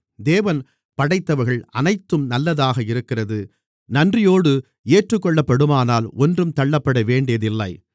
தேவன் படைத்தவைகள் அனைத்தும் நல்லதாக இருக்கிறது நன்றியோடு ஏற்றுக்கொள்ளப்படுமானால் ஒன்றும் தள்ளப்படவேண்டியது இல்லை